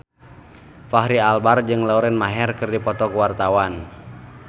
Fachri Albar jeung Lauren Maher keur dipoto ku wartawan